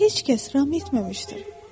Sizi heç kəs ram etməmişdir.